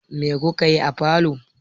Mai ku ka yi a falo?